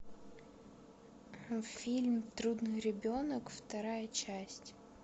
фильм трудный ребенок вторая часть